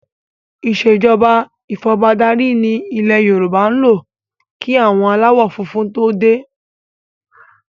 Ìsèjọba ifọbadárí ni ilẹ̀ Yorùbá ń lò kí àwọn aláwọ funfun to dé